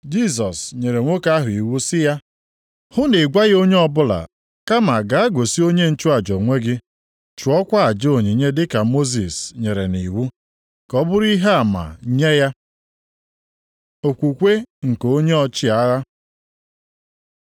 Jisọs nyere nwoke ahụ iwu sị ya, “Hụ na ịgwaghị onye ọbụla, kama gaa gosi onye nchụaja onwe gị, chụọkwa aja onyinye dịka Mosis, nyere nʼiwu, ka ọ bụrụ ihe ama nye ya.” Okwukwe nke onye ọchịagha